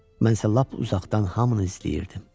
Mən isə lap uzaqdan hamını izləyirdim.